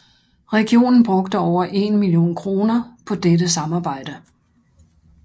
Regionen brugte over en million kroner på dette samarbejde